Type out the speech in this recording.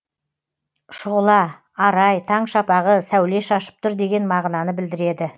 шұғыла арай таң шапағы сәуле шашып тұр деген мағынаны білдіреді